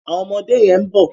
Àwọn ọmọdé yẹn ń bọ̀.